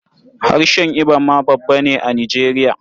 Harshen Ibo ma babba ne a Nijeriya.